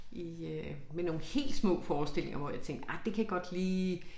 I øh med nogle helt små forestillinger hvor jeg tænkte ej det kan godt lide